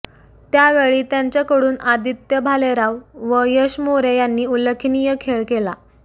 त्यावेळी त्यांच्याकडून आदित्य भालेराव व यश मोरे यांनी उल्लेखनीय खेळ केला